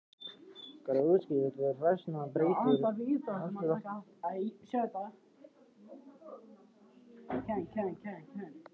Hvað útskýrir þessa breyttu afstöðu þína?